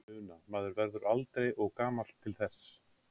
Una: Maður verður aldrei og gamall til þess?